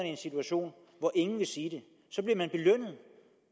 i en situation hvor ingen vil sige det